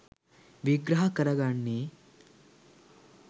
විග්‍රහ කර ගන්නේ